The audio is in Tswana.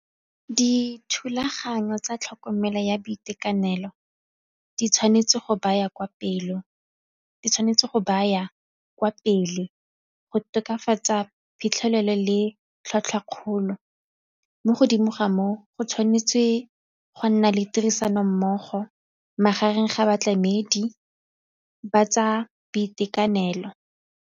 Dithulaganyo tsa tlhokomelo ya boitekanelo di tshwanetse go baya kwa pele go tokafatsa phitlhelelo le tlhwatlhwa kgolo, mo godimo ga moo go tshwanetse go nna le tirisanommogo magareng ga batlamedi ba tsa boitekanelo.